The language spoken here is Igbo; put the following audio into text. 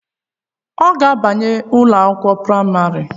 Ọ ga-abanye ụlọakwụkwọ praịmarị?